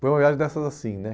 Foi uma viagem dessas assim, né?